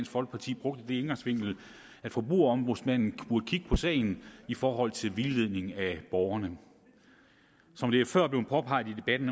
folkeparti brugte den indgangsvinkel at forbrugerombudsmanden burde kigge på sagen i forhold til vildledning af borgerne som det før er blevet påpeget i debatten